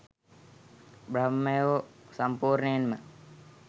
බ්‍රහ්මයෝ සම්පූර්ණයෙන්ම